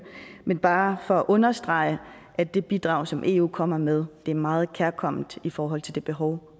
men bare understrege at det bidrag som eu kommer med er meget kærkomment i forhold til det behov